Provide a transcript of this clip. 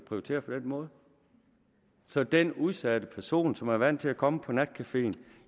prioriterer på den måde så den udsatte person som er vant til at komme på natcaféen